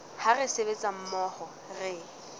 ha re sebetsa mmoho re